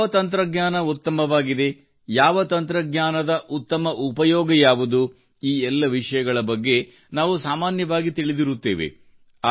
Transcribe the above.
ಯಾವ ತಂತ್ರಜ್ಞಾನ ಉತ್ತಮವಾಗಿದೆ ಯಾವ ತಂತ್ರಜ್ಞಾನದ ಉತ್ತಮ ಉಪಯೋಗ ಯಾವುದು ಈ ಎಲ್ಲ ವಿಷಯಗಳ ಬಗ್ಗೆ ನಾವು ಸಾಮಾನ್ಯವಾಗಿ ತಿಳಿದಿರುತ್ತೇವೆ